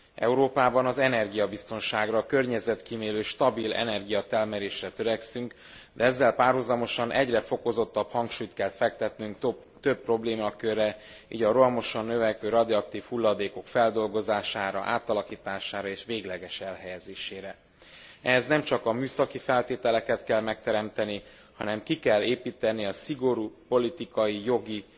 Európában energiabiztonságra, környezetkímélő, stabil energiatermelésre törekszünk, de ezzel párhuzamosan egyre fokozottabb hangsúlyt kell fektetnünk több problémakörre, így a rohamosan növekvő radioaktív hulladékok feldolgozására, átalakítására és végleges elhelyezésére. Ehhez nemcsak a műszaki feltételeket kell megteremteni, hanem ki kell építeni a szigorú politikai, jogi